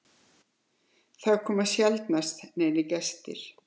Það komu sjaldnast neinir gestir.